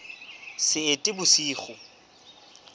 seetebosigo